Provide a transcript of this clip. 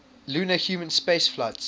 lunar human spaceflights